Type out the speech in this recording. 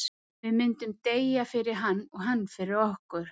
Við myndum deyja fyrir hann, og hann fyrir okkur.